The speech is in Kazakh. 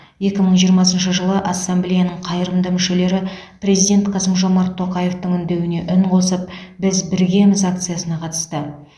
екі мың жиырмасыншы жылы ассамблеяның қайырымды мүшелері президент қасым жомарт тоқаевтың үндеуіне үн қосып біз біргеміз акциясына қатысты